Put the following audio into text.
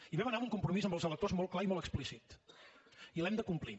i hi vam anar amb un compromís amb els electors molt clar i molt explícit i l’hem de complir